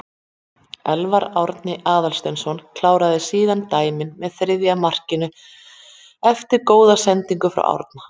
Elfar Árni Aðalsteinsson kláraði síðan dæmið með þriðja markinu eftir góða sendingu frá Árna.